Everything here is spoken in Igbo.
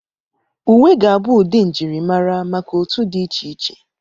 Uwe ga-abụ ụdị njirimara maka otu dị iche iche.